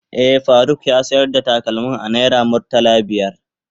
Eh, Faruk ya sayar da takalmin a naira murtala biyar.